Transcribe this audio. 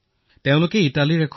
এজন গৈছিল ইটালীলৈ